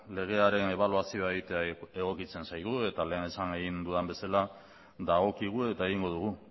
legearen ebaluazioa egitea egokitzen zaigu eta lehen esan egin dudan bezala dagokigu eta egingo dugu